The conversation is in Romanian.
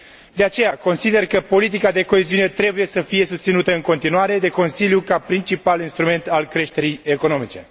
De aceea, consider că politica de coeziune trebuie să fie susținută în continuare de Consiliu ca principal instrument al creșterii economice.